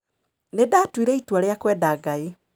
Nĩ ndatuire itua rĩa kwenda Ngai.